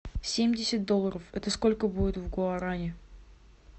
семьдесят долларов это сколько будет в гуарани